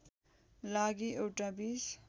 लागि एउटा २०